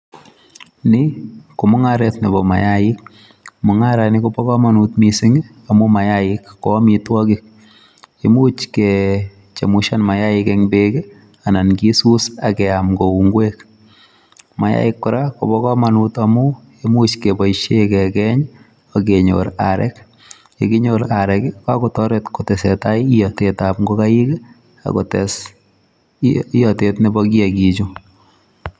Ni ko mung'aret nebo mayaik. Mung'aret ni kobo komonut missing, amu mayaik ko amitwogik. Imuch kechemushan mayaik eng' beek, anan kisus akeam kou ngwek. Mayaik kora kobo komonut amu, imuch keboisie kekeny, akenyor arek. Yekinyor arek, kakotoret kotesetai iyatetab ngogaik, akotes iyatet nebo kiyagiik chu.